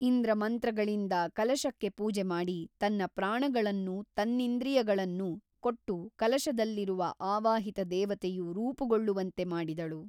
ಇಂದ್ರ ಮಂತ್ರಗಳಿಂದ ಕಲಶಕ್ಕೆ ಪೂಜೆಮಾಡಿ ತನ್ನ ಪ್ರಾಣಗಳನ್ನೂ ತನ್ನಿಂದ್ರಿಯಗಳನ್ನೂ ಕೊಟ್ಟು ಕಲಶದಲ್ಲಿರುವ ಆವಾಹಿತ ದೇವತೆಯು ರೂಪುಗೊಳ್ಳುವಂತೆ ಮಾಡಿದಳು.